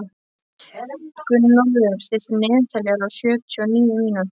Gunnólfur, stilltu niðurteljara á sjötíu og níu mínútur.